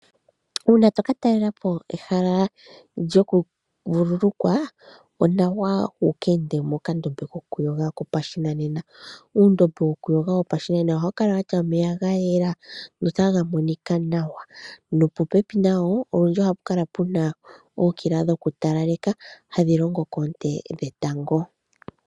Uuna tokata talelapo ehala lyoku vululukwa, onawa uka ende mokandombe koku yoga kopashinanena, uundombe wo ku yoga wopashinanena ohawukala watya omeya gayela notagamonika nawa, nopopepi nawo olundji ohapu kala puna ookila dhokutalaleka hadhi longo koonte dhetango.